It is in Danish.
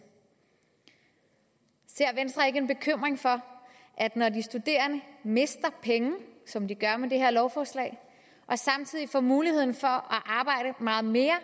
ser venstre ikke en bekymring for at når de studerende mister penge som de gør med det her lovforslag og samtidig får muligheden for at arbejde meget mere